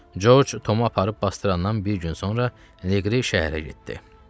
Corc Tomu aparıb basdırandan bir gün sonra Leqri şəhərə getdi.